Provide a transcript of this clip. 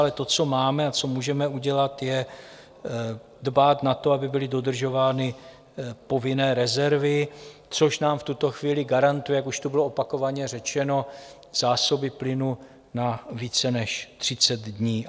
Ale to, co máme a co můžeme udělat, je dbát na to, aby byly dodržovány povinné rezervy, což nám v tuto chvíli garantuje, jak už tu bylo opakovaně řečeno, zásoby plynu na více než 30 dní.